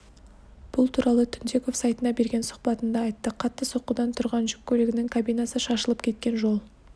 бұл туралы түнтеков сайтына берген сұхбатында айтты қатты соққыдан тұрған жүк көлігінің кабинасы шашылып кеткен жол